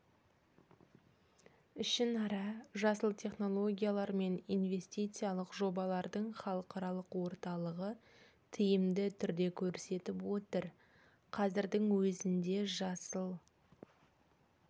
ішінара жасыл технологиялар мен инвестициялық жобалардың халықаралық орталығы тиімді түрде көрсетіп отыр қазірдің өзінде жасыл